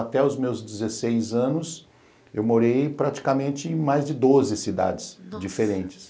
Até os meus dezesseis anos, eu morei praticamente em mais de doze cidades diferentes.